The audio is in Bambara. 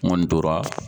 N kɔni tora